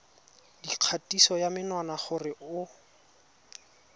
dikgatiso ya menwana gore o